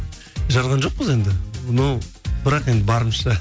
жарған жоқпыз енді но бірақ енді барымызша